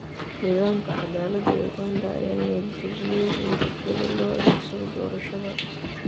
Nidaamka cadaalada ee Uganda ayaa niyad jabiyay in rabshado loo adeegsado doorashada.